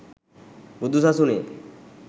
බුදු සසුනේ